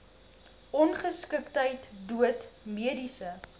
ongeskiktheid dood mediese